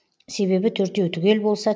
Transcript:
себебі төртеу түгел болса